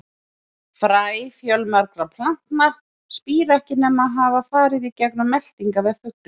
Fræ fjölmargra plantna spíra ekki nema hafa farið í gegnum meltingarveg fugla.